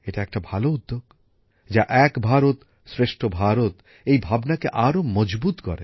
এটা একটা ভালো উদ্যোগ যা এক ভারত শ্রেষ্ঠ ভারত এই ভাবনাকে আরো মজবুত করে